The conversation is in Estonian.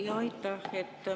Jaa, aitäh!